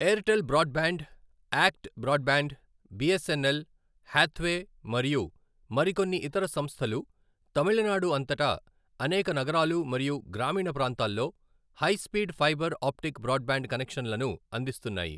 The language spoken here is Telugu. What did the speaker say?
Airtel broadband, ACT broadband, BSNL , Hathway మరియు మరికొన్ని ఇతర సంస్థలు తమిళనాడు అంతటా అనేక నగరాలు మరియు గ్రామీణ ప్రాంతాల్లో high speed fibre optic broadband కనెక్షన్లను అందిస్తున్నాయి.